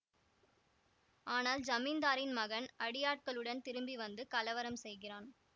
ஆனால் ஜமீந்தாரின் மகன் அடியாட்களுடன் திரும்பி வந்து கலவரம் செய்கிறான்